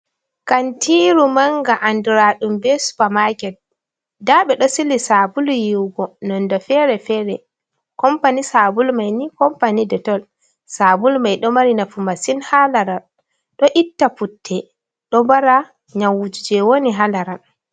Kantiiru manga, anduraɗum bee supa maaket nda ɓe ɗo sili saabulu yiiwugo nonde feere-feere compani saabulu may ni compani detol saabulu mai ɗo mari nafu masin haa laral, ɗo itta putte, ɗo mbara nyamwuuji jey woni haa laral.